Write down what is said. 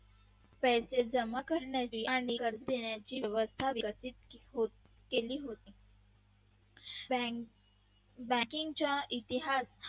पैसे जमा करण्याचे आणि कर्ज देण्याचे व्यवस्था विकसित होत गेले होती. banking चा इतिहास